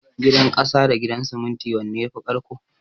Gidan ƙasa da Gidan siminti wanne yafi ƙarƙko?